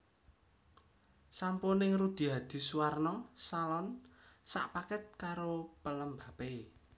Sampo ning Rudy Hadisuwarno Salon sak paket karo pelembape